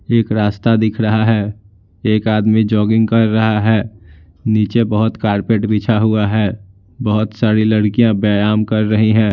एक रास्ता दिख रहा है एक आदमी जॉगिंग कर रहा है नीचे बहुत कारपेट बिछा हुआ है बहुत सारी लड़कियां व्यायाम कर रही हैं।